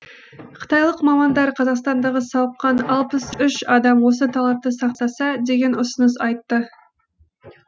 қытайлық мамандар қазақстандағы сауыққан алпыс үш адам осы талапты сақтаса деген ұсыныс айтты